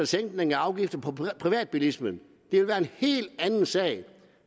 sænkning af afgifter på privatbilisme ville være en helt anden sag